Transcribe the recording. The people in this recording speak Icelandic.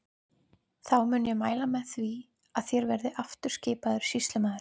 Þá mun ég mæla með því að þér verðið aftur skipaður sýslumaður.